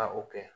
Ka o kɛ